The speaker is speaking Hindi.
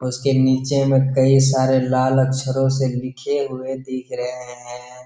और उसके नीचे में कई सारे लाल अक्षरों से लिखे हुए दिख रहे हैं।